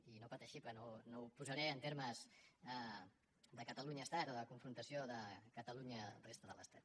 i no pateixi que no ho posaré en termes de catalunyaestat o de confrontació de catalunya resta de l’estat